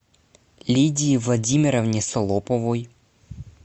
лидии владимировне солоповой